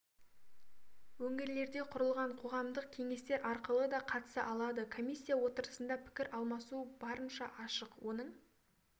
өңірлерде құрылған қоғамдық кеңестер арқылы да қатыса алады комиссия отырысында пікір алмасу барынша ашық оның